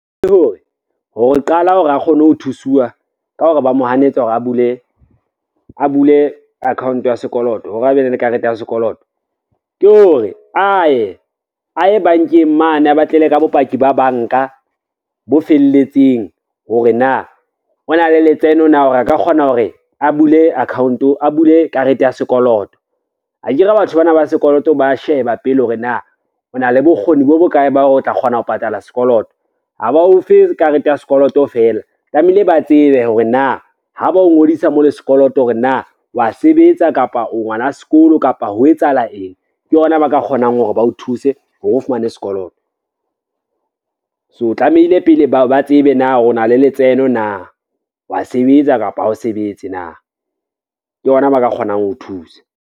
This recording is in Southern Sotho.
Ke hore ho qala hore a kgone ho thusuwa ka hore ba mo hanetsa hore a bule account ya sekoloto hore a be le karete ya sekoloto. Ke hore a ye bankeng mane a batlele ka bopaki ba banka bo felletseng hore na o na le letseno na hore a ka kgona hore a bule karete ya sekoloto. Akere batho bana ba sekoloto ba sheba pele hore na o na le bokgoni bo bokae ba o tla kgona ho patala sekoloto, ha ba ofe karete ya sekoloto fela, tlamehile ba tsebe hore na ha ba o ngodisa mo le sekoloto hore na wa sebetsa, kapa o ngwana sekolo, kapa ho etsahala eng, ke hona ba ka kgonang hore ba o thuse se hore o fumane sekoloto. So tlamehile pele ba tsebe na o na le letseno na, wa sebetsa kapa ha o sebetse na ke hona ba ka kgonang ho o thusa.